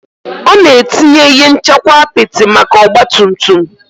Ọ na-etinye ihe nchekwa apịtị maka ọgba tum tum